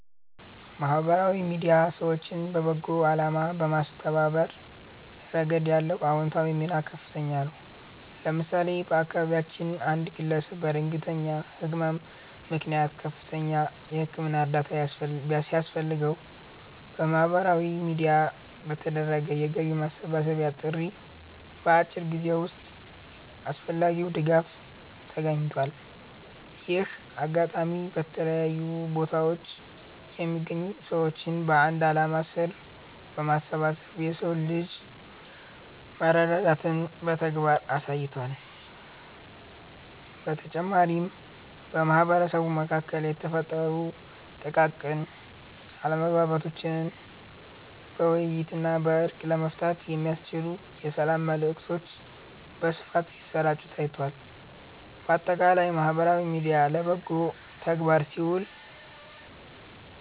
ማህበራዊ ሚዲያ ሰዎችን ለበጎ አላማ በማስተባበር ረገድ ያለው አዎንታዊ ሚና ከፍተኛ ነው። ለምሳሌ፣ በአካባቢያችን አንድ ግለሰብ በድንገተኛ ህመም ምክንያት ከፍተኛ የህክምና እርዳታ ሲያስፈልገው፣ በማህበራዊ ሚዲያ በተደረገ የገቢ ማሰባሰቢያ ጥሪ በአጭር ጊዜ ውስጥ አስፈላጊው ድጋፍ ተገኝቷል። ይህ አጋጣሚ በተለያዩ ቦታዎች የሚገኙ ሰዎችን በአንድ ዓላማ ስር በማሰባሰብ የሰው ልጅ መረዳዳትን በተግባር አሳይቷል። በተጨማሪም፣ በማህበረሰቡ መካከል የተፈጠሩ ጥቃቅን አለመግባባቶችን በውይይትና በእርቅ ለመፍታት የሚያስችሉ የሰላም መልዕክቶች በስፋት ሲሰራጩ ታይቷል። ባጠቃላይ ማህበራዊ ሚዲያ ለበጎ ተግባር ሲውል